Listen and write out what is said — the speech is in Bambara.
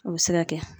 O bɛ se ka kɛ